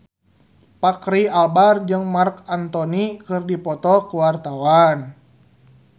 Fachri Albar jeung Marc Anthony keur dipoto ku wartawan